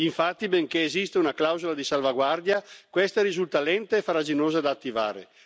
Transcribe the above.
Infatti, benché esista una clausola di salvaguardia, questa risulta lenta e farraginosa da attivare.